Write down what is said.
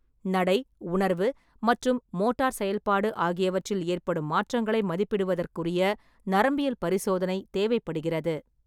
நடை, உணர்வு மற்றும் மோட்டார் செயல்பாடு ஆகியவற்றில் ஏற்படும் மாற்றங்களை மதிப்பிடுவதற்கு நரம்பியல் பரிசோதனை தேவைப்படுகிறது.